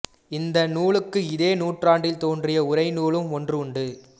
இந்த நூலுக்கு இதே நூற்றாண்டில் தோன்றிய உரைநூலும் ஒன்று உண்டு